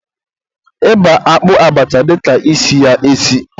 ịba akpụ abacha dịka isi ya esi.